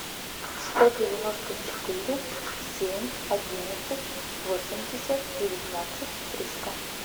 сто девяносто четыре семь одиннадцать восемьдесят девятнадцать триста